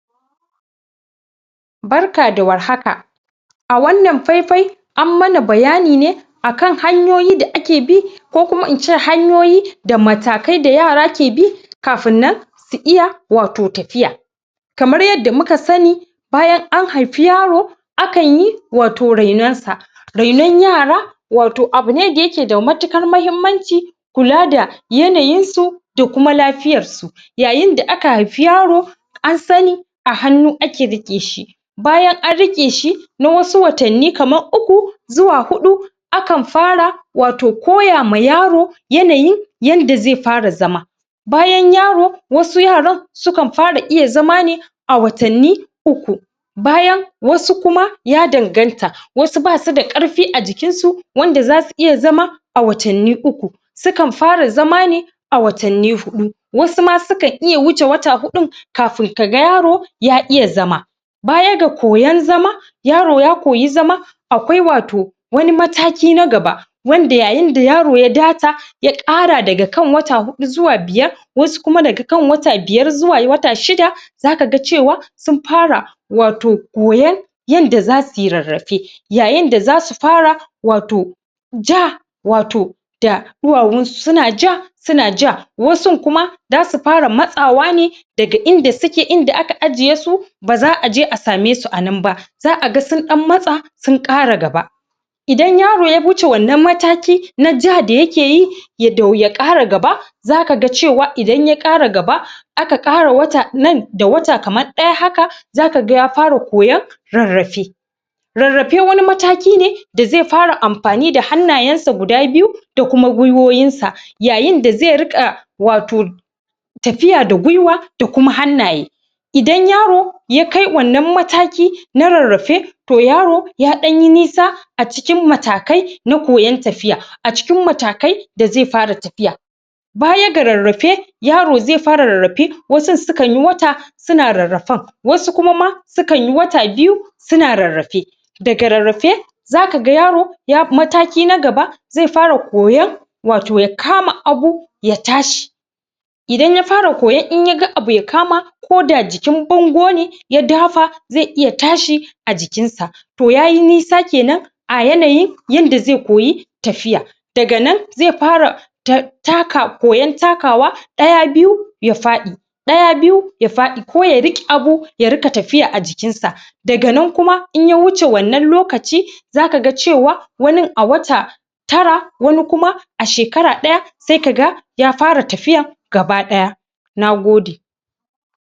Barka da warhaka! A wannan faifai ammana bayanine akan hayoyi da ake bi ko kuma ince hanyoyi da matakai da raya ke bi kafin nan su iya wato tafiya. Kamar yadda muka sani bayan an haifi yaro, a kanyi wato rainonsa. Rainon yara wato abune da yake da matuƙar mahimmanci, kula da yanayinsu da kuma lafiyar su yayin da aka haifi yaro an sani a hanu ake riƙeshi, bayan an riƙeshi na wasu watanni kama uku zuwa huɗu akan fara wato koyama yaro yanayin yanda ze fara zama, bayan yaro wasu yaran sukan fara iya zama ne a watanni uku, bayan wasu kuma ya danganta, wasu basu da ƙarfi a jikinsu wanda za su iya zama a watanni uku, sukan fara zama ne a watanni huɗu, wasu ma suka iya wuce wata huɗun kafin kaga yaro ya iya zama. Baya ga koyan zama yaro ya koyi zama akwai wato wani mataki na gaba wanda yayin da yaro ya data ya ƙara daga kan wata huɗu zuwa biyar wasu kuma daga kan wata biyar zuwa wata shida za ka ga cewa sun fara wato koyan yanda za suyi rarrrafe. Yayin da za su wato ja wato da ɗuwawunsu su na su na ja wasun kuma za su fara matsawa ne daga inda suke, inda aka ajjiyesu, ba za aje a sameshu ananba. Za aga sunɗan matsa su na ƙara gaba idan yaro ya wuce wannan mataki na ja da ya keyi, ya dau ya kara gaba za ka ga cewan idan yaɗ ƙara aka ƙara wata nan da wata kaman ɗaya, haka za ka ga ya fara koyan rarrafe. Rarrafe wani mataki ne da ze fara amfani da hannayansa guda biyu da kuma gwiwowunsa yayin da ze riƙa wato tafiya da gwiwa da kuma hannaye. Idan yaro yakai wannan mataki na rarrafe, to yaro ya ɗanyi nisa a cikin matakai na koyan tafiya a cikin matakai da ze fara tafiya. Baya ga rarrafe yaro ze fara rarrafe wasun su kanyi wata suna rarrafan, wasu kuma ma su kayi wata biyu su na rarrafe, daga rarrafe za ka ga yaro mataki na gaba ze fara koyan wato ya kama abu ya tashi. Idan ya fara koyon in ya ga abu ya kama koda jikin bangone ya dafa ze iya tashi a jikinsa, to yayi nisa kenan. A yanayi yanda ze koyi tafiya daga nan ze fara takawa, koyan takawa ɗaya biyu ya faɗi, ɗaya biyu ya faɗi ko ya riƙe abu daga nan kuma in ya wuce wannan lokaci za ka ga cewa wanin a wata tara wani kuma a shekara ɗaya se ka ga gaba ɗaya nagode.